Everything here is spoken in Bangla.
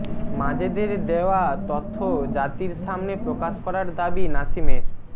মাজেদের দেওয়া তথ্য জাতির সামনে প্রকাশ করার দাবি নাসিমের